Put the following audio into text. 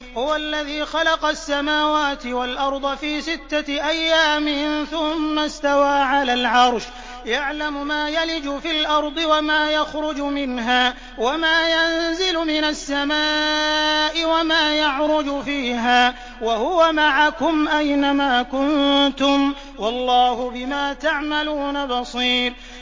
هُوَ الَّذِي خَلَقَ السَّمَاوَاتِ وَالْأَرْضَ فِي سِتَّةِ أَيَّامٍ ثُمَّ اسْتَوَىٰ عَلَى الْعَرْشِ ۚ يَعْلَمُ مَا يَلِجُ فِي الْأَرْضِ وَمَا يَخْرُجُ مِنْهَا وَمَا يَنزِلُ مِنَ السَّمَاءِ وَمَا يَعْرُجُ فِيهَا ۖ وَهُوَ مَعَكُمْ أَيْنَ مَا كُنتُمْ ۚ وَاللَّهُ بِمَا تَعْمَلُونَ بَصِيرٌ